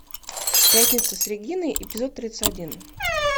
пятница с региной эпизод тридцать один